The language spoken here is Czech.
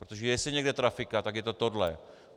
Protože jestli je někde trafika, tak je to tohle.